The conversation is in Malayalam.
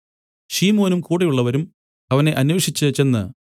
ശിമോനും കൂടെയുള്ളവരും അവനെ അന്വേഷിച്ചു ചെന്ന്